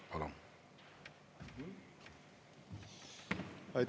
Palun!